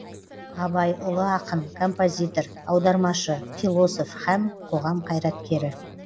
абай ұлы ақын композитор аудармашы философ һәм қоғам қайраткері